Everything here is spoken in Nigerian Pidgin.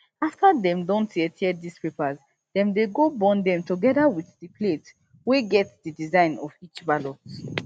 afta dey don tear tear dis papers den dey go burn dem togeda wit di plates wey get di design of each ballot